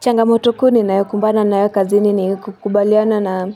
Changamoto kuu ninayokumbana nayo kazini ni kukubaliana na